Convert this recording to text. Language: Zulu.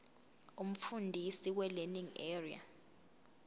umfundisi welearning area